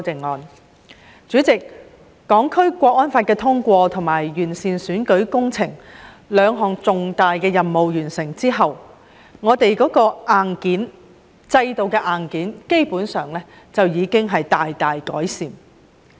代理主席，在完成通過《香港國安法》和完善選舉制度這兩項重大任務後，我們制度的硬件基本上已經大大改善。